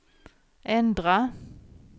ändra